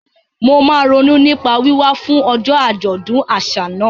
Mo máa ronú nípa wíwá fún ọjọ́ àjọ̀dún àṣà náà.